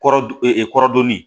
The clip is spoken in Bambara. Kɔrɔ dun ee kɔrɔdonni